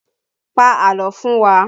Pa àlọ́ fún wa!